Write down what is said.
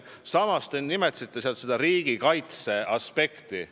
Samas, te nimetasite riigikaitseaspekti.